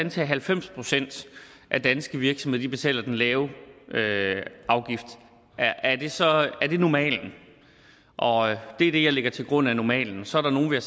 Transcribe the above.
at halvfems procent af danske virksomheder betaler den lave afgift er det så normalen og det er det jeg lægger til grund er normalen så er der nogle